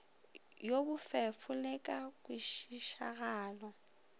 wo bofefo le ka kwešišagalo